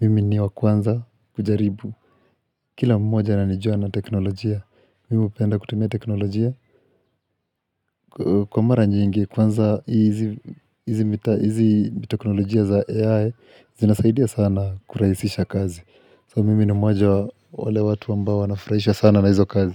Mimi ni wakwanza kujaribu. Kila mmoja ananijua na teknolojia, mimi hupenda kutumia teknolojia. Kwa mara nyingi, kwanza hizi teknolojia za AI zinasaidia sana kurahisisha kazi. So mimi ni mmoja wa wale watu ambao wanafurahishwa sana na hizo kazi.